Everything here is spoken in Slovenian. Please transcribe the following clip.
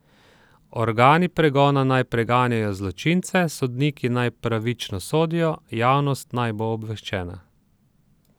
Organi pregona naj preganjajo zločince, sodniki naj pravično sodijo, javnost naj bo obveščena.